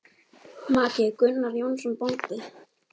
Maki: Gunnar Jónsson bóndi.